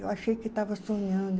Eu achei que estava sonhando.